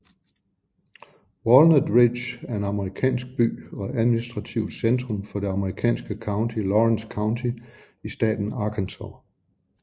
Walnut Ridge er en amerikansk by og administrativt centrum for det amerikanske county Lawrence County i staten Arkansas